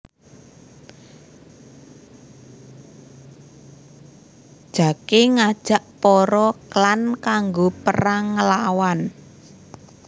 Jake ngajak para klan kanggo perang nglawan